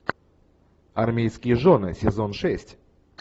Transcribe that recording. армейские жены сезон шесть